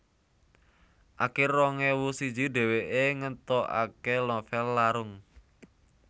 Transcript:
Akir rong ewu siji dhèwèké ngetokaké novèl Larung